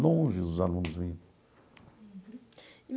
Longe os alunos vinham.